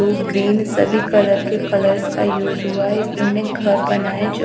blue green सभी colour के colours का यूज हुआ है इस उन्होंने घर बनाया है जो--